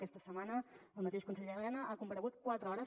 aquesta setmana el mateix conseller elena ha comparegut quatre hores